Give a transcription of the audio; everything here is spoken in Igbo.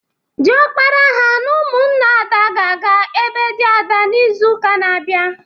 Dịọkpara ha na ụmụnna Ada ga-aga ebe dị Ada n'ịzuụka ọzọ.